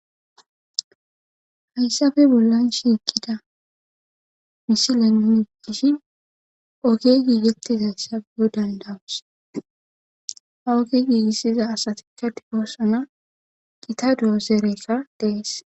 Hayssabe bollan shiikida misilenmishi oge giigettiz ayssaeyo dandawus ha oge giigissiza asatikka difoosana gita doozereka dees.